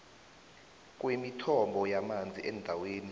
kwemithombo yamanzi endaweni